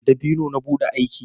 da dabino na buɗe aki